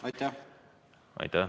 Aitäh!